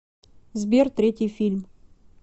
сбер третий фильм